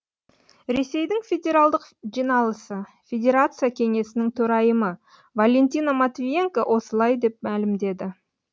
ресейдің федералдық жиналысы федерация кеңесінің төрайымы валентина матвиенко осылай деп мәлімдеді